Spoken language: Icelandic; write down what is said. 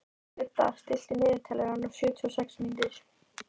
Gudda, stilltu niðurteljara á sjötíu og sex mínútur.